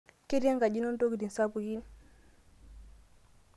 ketii enkaji ino intokitin sapukin